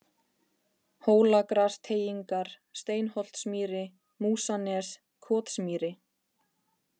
Hólagrasteigingar, Steinsholtsmýri, Músanes, Kotsmýri